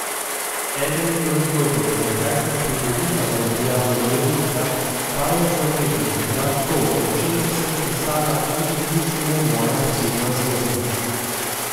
Eden od razlogov, zakaj sem privolila v objavo dnevnika, pa je zavedanje, da to, o čemer sem pisala, niti ni samo moja osebna zgodba.